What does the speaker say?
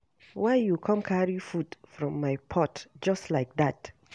Why you go come carry food from my pot just like dat